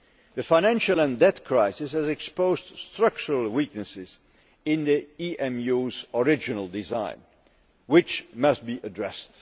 The financial and debt crisis has exposed structural weaknesses in the EMU's original design, which must be addressed.